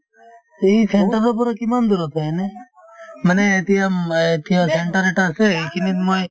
এই centre ৰ পৰা কিমান দূৰত হয় এনে মানে এতিয়া উম অ এতিয়া centre এটা আছে এইখিনিত মই